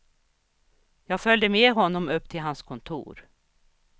Jag följde med honom upp till hans kontor.